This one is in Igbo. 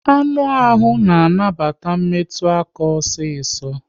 Anụ ahụ na anabata metụ aka osiso